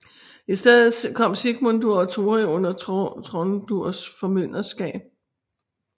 I stedet kom Sigmundur og Tóri under Tróndurs formynderskab